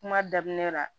Kuma daminɛ la